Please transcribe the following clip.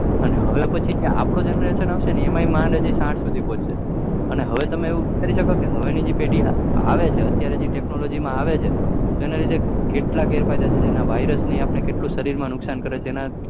અને હવે આપડો generation આવશે એ એમાં માંડ સાહીઠ સુધી પોહશે અને હવે ની જે પેઢી આવે છે અત્યારે જે technology આવે છે એ તેના લીધે કેટલા ગેર ફાયદા છે જેના virus ને આપડા શરીર માં કેટલા નુકસાન કરે છે એના કારણે